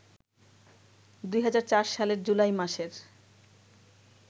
২০০৪ সালের জুলাই মাসের